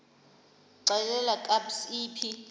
xelel kabs iphi